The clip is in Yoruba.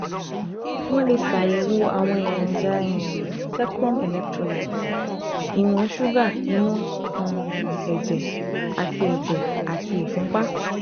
Wọ́n lè ṣàyẹ̀wò àwọn èròjà um secrum electrolytes ìwọ̀n ṣúgà inú um ẹ̀jẹ̀, àti ẹ̀jẹ̀, àti ìfúnpá